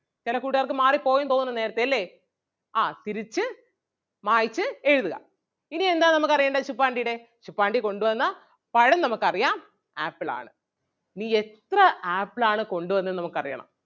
ചെല കൂട്ടുകാർക്ക് മാറി പോയെന്ന് തോന്നുന്നു നേരത്തെ അല്ലേ ആഹ് തിരിച്ചു മായ്ച്ച് എഴുതുക. ഇനി എന്താണ് നമുക്ക് അറിയേണ്ടത് ശുപ്പാണ്ടിടെ ശുപ്പാണ്ടി കൊണ്ട് വന്ന പഴം നമുക്ക് അറിയാം ആപ്പിൾ ആണ്. ഇനി എത്ര ആപ്പിൾ ആണ് കൊണ്ട് വന്നേ എന്ന് നമുക്ക് അറിയണം.